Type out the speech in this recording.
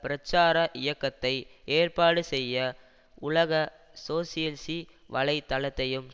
பிரச்சார இயக்கத்தை ஏற்பாடு செய்ய உலக சோசியல்சி வலை தளத்தையும்